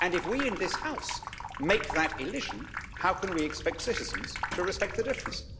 If we in this House make that elision, how can we expect citizens to respect the difference?